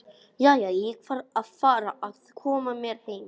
Jæja, ég þarf að fara að koma mér heim